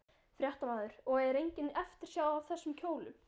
Fréttamaður: Og er engin eftirsjá af þessum kjólum?